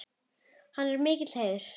Þetta er mikill heiður.